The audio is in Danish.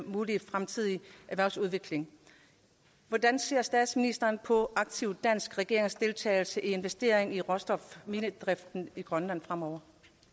mulige fremtidige erhvervsudvikling hvordan ser statsministeren på aktiv dansk regeringsdeltagelse i investeringer i råstofminedriften i grønland fremover